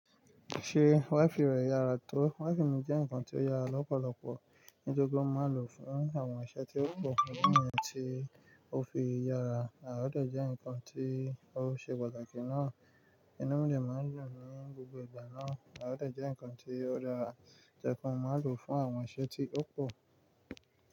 Ṣé waifi rẹ yára tó? Waifi mi jẹ́ ǹkan tí ó yára lọ́pọ̀lọpọ̀ nítorípé mo máa ń lòó fún àwọn iṣẹ́ tí ó pọ̀ fún àwọn tí ó fi yára, ó dẹ̀ jẹ́ nǹkan tí ó ṣe pàtàkì náà. Inú mi dẹ̀ máa ń dùn ní gbogbo ìgbà náà ó dẹ̀ jẹ́ nǹkan tí ó dáa, tó jẹ́ pé mo máa ń lòó fún àwọn iṣẹ́ tí ó pọ̀